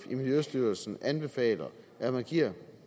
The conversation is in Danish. i miljøstyrelsen anbefaler at man giver